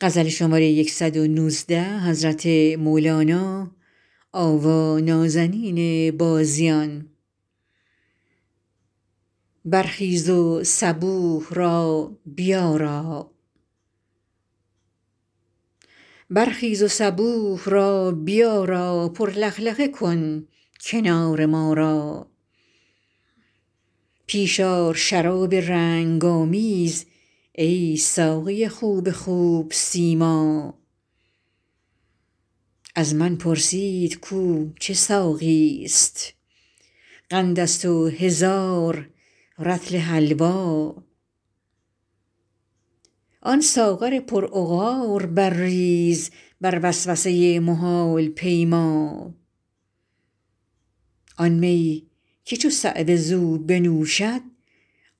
برخیز و صبوح را بیارا پر لخلخه کن کنار ما را پیش آر شراب رنگ آمیز ای ساقی خوب خوب سیما از من پرسید کو چه ساقیست قندست و هزار رطل حلوا آن ساغر پرعقار برریز بر وسوسه محال پیما آن می که چو صعوه زو بنوشد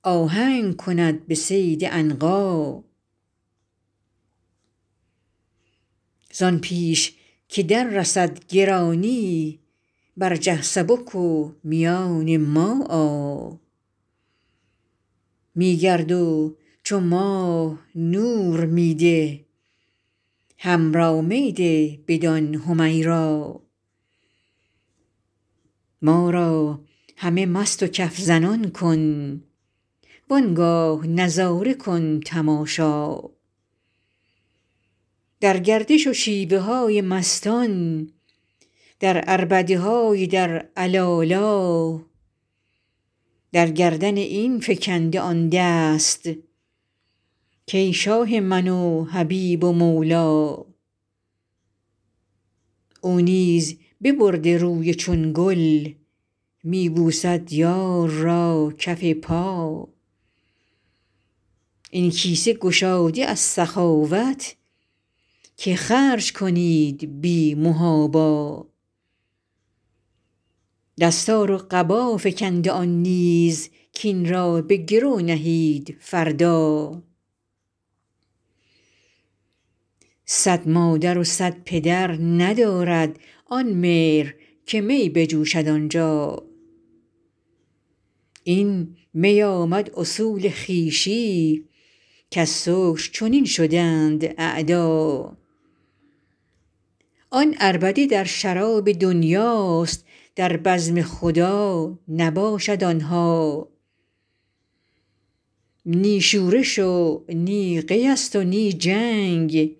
آهنگ کند به صید عنقا زان پیش که دررسد گرانی برجه سبک و میان ما آ می گرد و چو ماه نور می ده حمرا می ده بدان حمیرا ما را همه مست و کف زنان کن وان گاه نظاره کن تماشا در گردش و شیوه های مستان در عربده های در علالا در گردن این فکنده آن دست کان شاه من و حبیب و مولا او نیز ببرده روی چون گل می بوسد یار را کف پا این کیسه گشاده از سخاوت که خرج کنید بی محابا دستار و قبا فکنده آن نیز کاین را به گرو نهید فردا صد مادر و صد پدر ندارد آن مهر که می بجوشد آنجا این می آمد اصول خویشی کز سکر چنین شدند اعدا آن عربده در شراب دنیاست در بزم خدا نباشد آن ها نی شورش و نی قیست و نی جنگ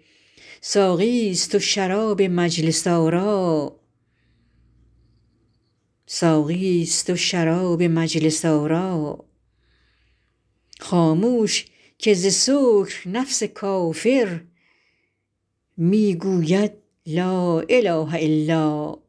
ساقیست و شراب مجلس آرا خامش که ز سکر نفس کافر می گوید لا اله الا